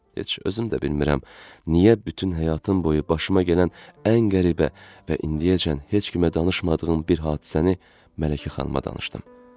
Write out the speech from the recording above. Heç özüm də bilmirəm, niyə bütün həyatım boyu başıma gələn ən qəribə və indiyəcən heç kimə danışmadığım bir hadisəni Mələkə xanıma danışdım.